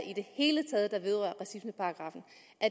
i det hele taget der vedrører racismeparagraffen